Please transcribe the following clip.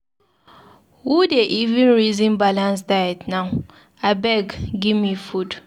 Who dey even resin balance diet now? Abeg give me food.